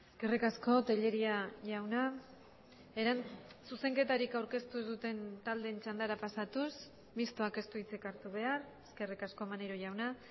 eskerrik asko tellería jauna zuzenketarik aurkeztu ez duten taldeen txandara pasatuz mistoak ez du hitzik hartu behar eskerrik asko maneiro jauna